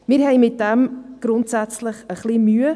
Damit haben wir grundsätzlich ein wenig Mühe.